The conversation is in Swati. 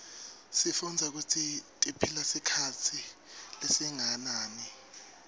sifundza kutsi tiphila sikhatsi lesinganani